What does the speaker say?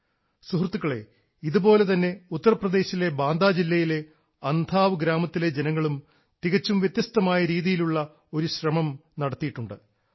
സുഹൃത്തുക്കളേ ഇതുപോലെ തന്നെ ഉത്തർപ്രദേശിലെ ബാന്ദാ ജില്ലയിലെ അന്ധാവ് ഗ്രാമത്തിലെ ജനങ്ങളും തികച്ചും വ്യത്യസ്തമായ രീതിയിലുള്ള ഒരു ശ്രമം നടത്തിയിട്ടുണ്ട്